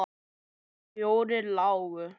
Fjórar lágu.